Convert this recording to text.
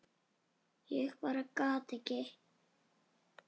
Ég bara gat ekki.